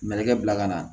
Mɛnɛkɛ bila ka na